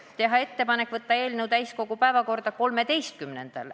Otsustati teha ettepanek saata eelnõu täiskogu päevakorda 13. novembriks.